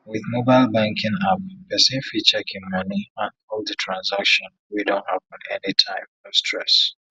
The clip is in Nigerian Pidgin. with mobile banking app person fit check im money and all the transaction wey don happen anytime no stress